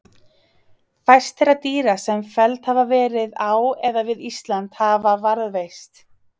Fæst þeirra dýra sem felld hafa verið á eða við Ísland hafa varðveist.